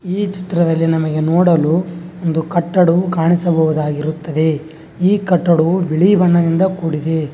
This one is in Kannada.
ಈ ಚಿತ್ರದಲ್ಲಿ ನಮಗೆ ನೋಡಲು ಒಂದು ಕಟ್ಟಡವು ಕಾಣಿಸಬಹುದಾಗಿರುತ್ತದೆ ಈ ಕಟ್ಟಡವು ಬಿಳಿ ಬಣ್ಣದಿಂದ ಕೂಡಿದೆ.